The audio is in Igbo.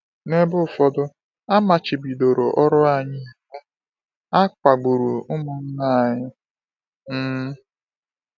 N’ebe ụfọdụ, a machibidoro ọrụ anyị iwu, a kpagburu ụmụnna anyị. um